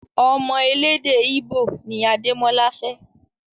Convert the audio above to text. Ọmọ elédè íbò ni Adémọ́lá fẹ́